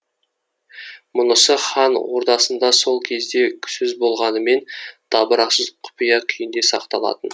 мұнысы хан ордасында сол кезде сөз болғанымен дабырасыз құпия күйінде сақталатын